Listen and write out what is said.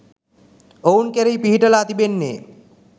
ඔවුන් කෙරෙහි පිහිටලා තිබෙන්නේ